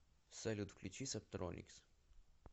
салют включи сабтроникс